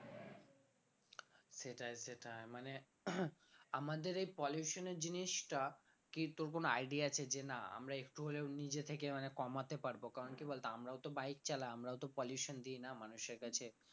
সেটাই সেটাই মানে আমাদের এই pollution এর জিনিসটা idea আছে যে না আমরা একটু হলেও নিজে থেকে মানে কমাতে পারবো কারণ কি বলতো আমরাও তো bike চালাই আমরাও তো pollution দি না মানুষের কাছে